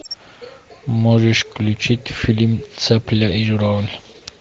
можешь включить фильм цапля и журавль